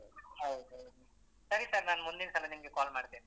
ಹೌದ್ ಹೌದು, ಸರಿ sir ನಾನ್ ಮುಂದಿನ್ಸಲ ನಿಮ್ಗೆ call ಮಾಡ್ತೇನೆ.